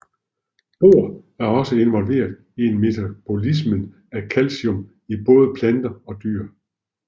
Bor er også involveret i metabolismen af calcium i både planter og dyr